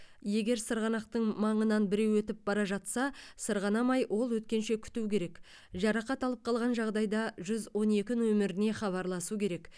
егер сырғанақтың маңынан біреу өтіп бара жатса сырғанамай ол өткенше күту керек жарақат алып қалған жағдайда жүз он екі нөміріне хабарласу керек